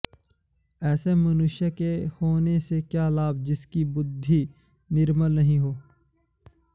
ऐसे मनुष्य के होने से क्या लाभ जिसकी बुद्धि निर्मल नहीं हो